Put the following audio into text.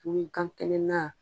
I bi gan kɛnɛ na